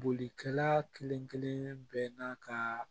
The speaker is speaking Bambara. Bolikɛla kelen kelen bɛɛ n'a ka